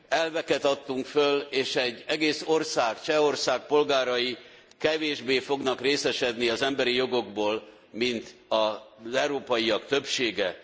Elveket adtunk föl és egy egész ország, Csehország polgárai kevésbé fognak részesedni az emberi jogokból, mint az európaiak többsége.